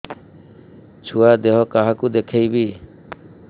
ଛୁଆ ଦେହ କାହାକୁ ଦେଖେଇବି